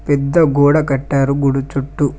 పెద్ద గోడ కట్టారు గుడి చుట్టూ.